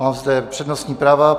Mám zde přednostní práva.